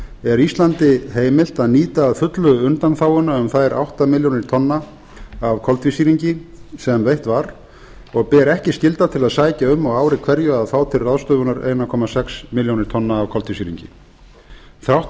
er íslandi heimilt að nýta að fullu undanþáguna um þær átta milljónir tonna af koltvísýringi sem veitt var og ber ekki skylda til að sækja um á ári hverju að fá til ráðstöfunar einn komma sex milljónir tonna af koltvísýringi þrátt